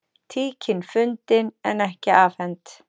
Tíkin fundin en ekki afhent